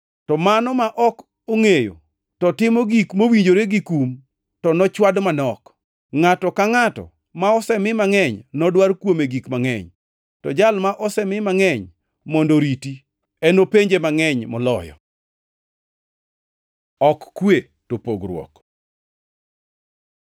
To mano ma ok ongʼeyo to otimo gik mowinjore gi kum, to nochwad manok. Ngʼato ka ngʼato ma osemi mangʼeny nodwar kuome gik mangʼeny, to jal ma osemi mangʼeny mondo oriti, enopenje mangʼeny moloyo. Ok kwe to pogruok